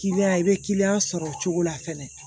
i bɛ kiliyan sɔrɔ o cogo la fɛnɛ